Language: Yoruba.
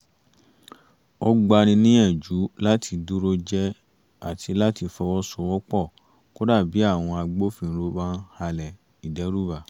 ó gba ni níyànjú láti dúró jẹ́ àti láti fọwọ́sowọ́pọ̀ kódà bí àwọn agbófinró bá ń halẹ̀ ìdẹ́rùbà